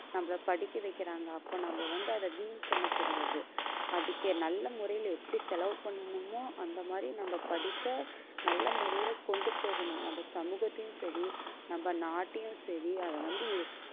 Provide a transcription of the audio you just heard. நம்மளை படிக்க வைக்கிறாங்க அப்போ நம்ம வந்து அதை வீண் பண்ணக் கூடாது அதுக்கு நல்ல முறையில எப்படி செலவு பண்ணணுமோ அந்த மாதிரி நம்ம படிப்பை நல்ல முறையில கொண்டு போகணும் நம்ம சமூகத்தையும் சரி நம்ம நாட்டையும் சரி அதை வந்து